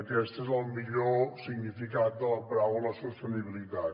aquest és el millor significat de la paraula sostenibilitat